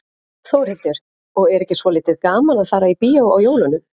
Þórhildur: Og er ekki svolítið gaman að fara í bíó á jólunum?